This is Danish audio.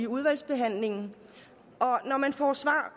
udvalgsbehandlingen og når man får svar